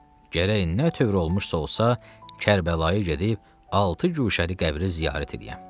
Gərək nə tövr olmuşsa olsa Kərbəlaya gedib altı guşəli qəbri ziyarət eləyəm.